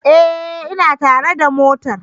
Ee, ina tare da mota